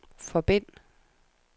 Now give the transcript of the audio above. forbind